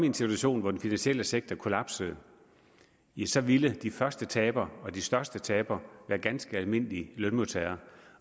en situation hvor den finansielle sektor kollapsede så ville de første tabere og de største tabere være ganske almindelige lønmodtagere